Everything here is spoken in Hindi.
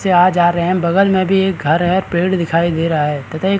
से आ जा रहे है बगल में भी एक घर है और एक पेड़ दिखाई दे रहा है तथा एक--